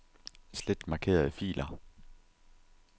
Slet markerede filer.